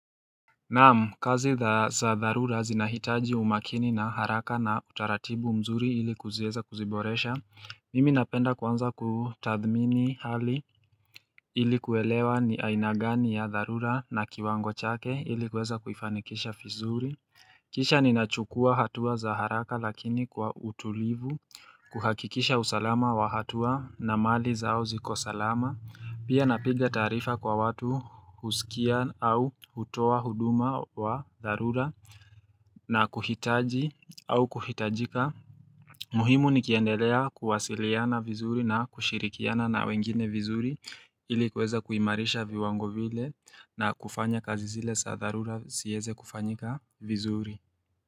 Naam, kazi za dharura zinahitaji umakini na haraka na utaratibu mzuri ili kuzieza kuziboresha. Mimi napenda kwanza kutathmini hali ili kuelewa ni ainagani ya dharura na kiwango chake ili kuweza kuifanikisha fizuri. Kisha ninachukua hatua za haraka lakini kwa utulivu, kuhakikisha usalama wa hatua na mali zao zikosalama. Pia napiga taarifa kwa watu husikia au utoa huduma wa dharura na kuhitaji au kuhitajika. Muhimu ni kiendelea kuwasiliana vizuri na kushirikiana na wengine vizuri ilikuweza kuimarisha viwango vile na kufanya kazi zile saa darura siyeze kufanyika vizuri.